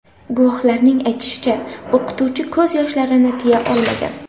Guvohlarning aytishicha, o‘quvchi ko‘z yoshlarini tiya olmagan.